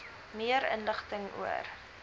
meer inligting oor